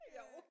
Jo